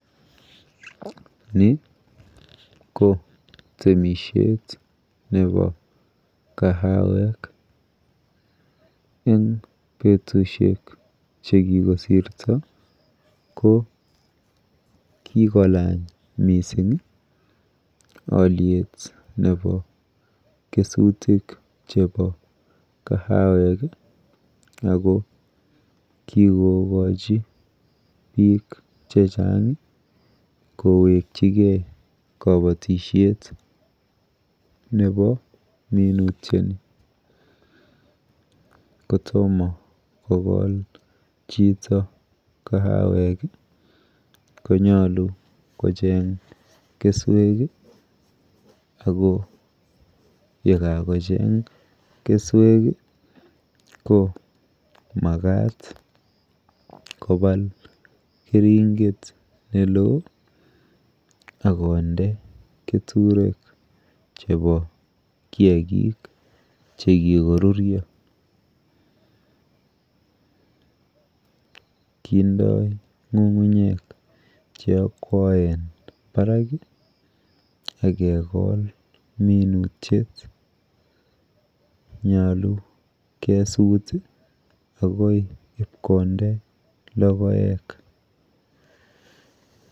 Ni ko temishet nepo kahawek. Eng betushek chekikosirto ko kikolany mising alyet nepo kesutik chepo kahawek ako kikokochi biik chechang kowekchigei kabatishet nepo minutyoni. Kotomo kokol chito kahawek konyolu kocheng keswek ako yekakocheng keswek ko makat kopal keringet neloo akonde keturek chepo kiakik chekikoruiryo, kindoi ng'ung'unyek cheakwoen barak akekol minutyet. Nyolu kesut akoi ipkonde logoek.